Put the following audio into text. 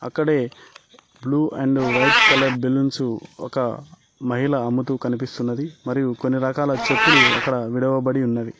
ఇక్కడే blue and white colour balloons ఒక మహిళ అమ్ముతూ కనిపిస్తున్నది మరియు కొన్ని రకాల చెప్పులు అక్కడ విడవబడి ఉన్నవి.